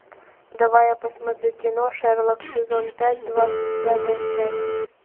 давай я посмотрю кино шерлок сезон пять двадцать пятая часть